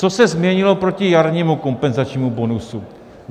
Co se změnilo proti jarnímu kompenzačnímu bonusu?